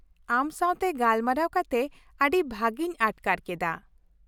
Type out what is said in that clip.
ᱟᱢ ᱥᱟᱶᱛᱮ ᱜᱟᱞᱢᱟᱨᱟᱣ ᱠᱟᱛᱮ ᱟᱹᱰᱤ ᱵᱷᱟᱹᱜᱤᱧ ᱟᱴᱠᱟᱨ ᱠᱮᱫᱟ ᱾